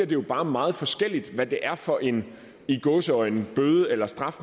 det jo bare meget forskelligt hvad det er for en i gåseøjne bøde eller straf